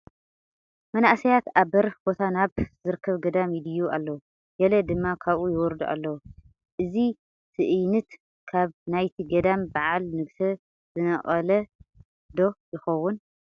መናእሰያት ኣብ በሪኽ ቦታ ናብ ዝርከብ ገዳም ይድይቡ ኣለዉ፡፡ ገለ ድማ ካብኡ ይወርዱ ኣለዉ፡፡ እዚ ትእይንት ካብ ናይቲ ገዳም በዓለ ንግስ ዝነቐለ ዶ ይኸውን?